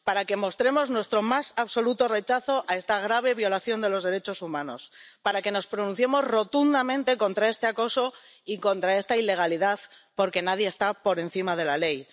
Para que mostremos nuestro más absoluto rechazo a esta grave violación de los derechos humanos. Para que nos pronunciemos rotundamente contra este acoso y contra esta ilegalidad, porque nadie está por encima de la ley.